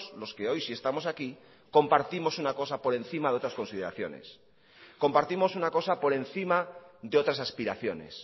los que hoy sí estamos aquí compartimos una cosa por encima de otras consideraciones compartimos una cosa por encima de otras aspiraciones